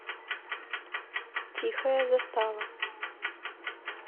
тихая застава